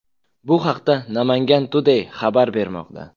Bu haqda Namangan Today xabar bermoqda .